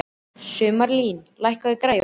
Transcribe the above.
Sumarlín, lækkaðu í græjunum.